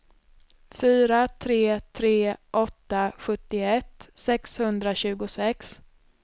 fyra tre tre åtta sjuttioett sexhundratjugosex